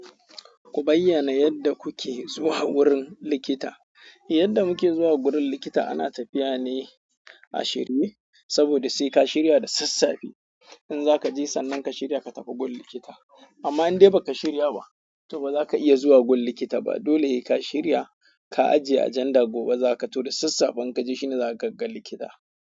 Ku bayyana yadda kuke zuwa wurin likita. Yadda muke zuwa gurin likita ana tafiya ne a shirye, saboda sai ka shirya da sassafi. In zaka je sannan ka shirya ka tafi gun likita. Amma in dai ba ka shirya ba, to ba za ka iya zuwa gun likita ba. Dole heka shirya ka ajiye agenda gobe zaka to da sassafe shine inkaje zakaga likita.